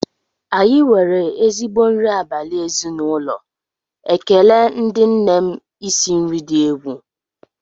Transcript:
Anyị nwere ezigbo nri abalị ezinụlọ, ekele ndị nne m isi nri dị egwu